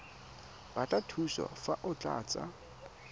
batla thuso fa o tlatsa